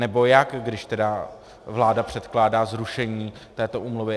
Nebo jak, když tedy vláda předkládá zrušení této úmluvy?